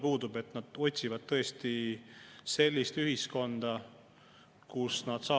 Kusjuures, me ju mäletame, kuidas sellega jutt, et koalitsioon tahab hirmsasti menetleda, arutada, diskussiooni pidada.